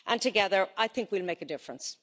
Together, I think we'll make a difference.